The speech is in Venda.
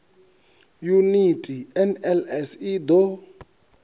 yuniti nls i d o